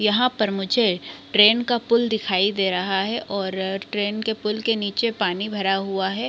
यहाँ पर मुझे ट्रैन का पूल दिखाई दे रहा है और ट्रैन के पूल के नीचे पानी भरा हुआ हैं।